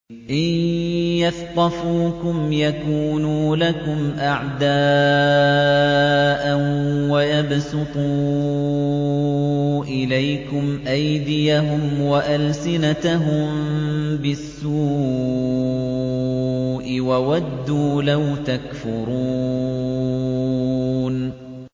إِن يَثْقَفُوكُمْ يَكُونُوا لَكُمْ أَعْدَاءً وَيَبْسُطُوا إِلَيْكُمْ أَيْدِيَهُمْ وَأَلْسِنَتَهُم بِالسُّوءِ وَوَدُّوا لَوْ تَكْفُرُونَ